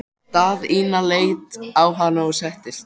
Daðína leit á hana og settist.